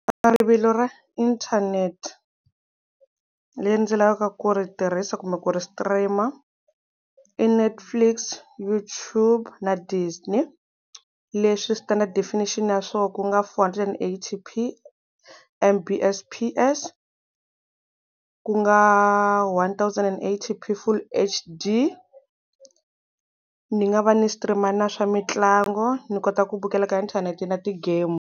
A rivilo ra internet leri ndzi lavaka ku ri tirhisa kumbe ku ri stream i Netflix, YouTube na Disney leswi standard definition ya swona ku nga four hundred and eighty P_M_B_S_P_S ku nga one thousand and eighty P full H_D. Ni nga va ni stream na swa mitlango ni kota ku vukhela ka inthanete na ti-game.